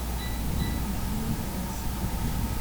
джой мисс анш